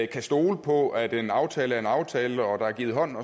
kan stole på at en aftale er en aftale der er givet hånd